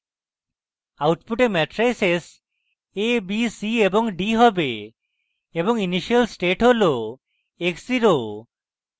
output matrices a b c এবং d have এবং initial state হল x zero